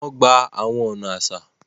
Wọn gbà awọn ọna aṣa